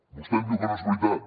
vostè em diu que no és veritat